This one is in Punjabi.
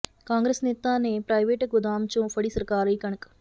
ਕਾਂਗਰਸ ਨੇਤਾ ਨੇ ਪ੍ਰਾਈਵੇਟ ਗੋਦਾਮ ਚੋਂ ਫੜੀ ਸਰਕਾਰੀ ਕਣਕ